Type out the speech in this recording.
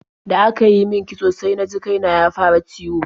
Da aka yi min kitso sai na ji kai na ya fara ciwo.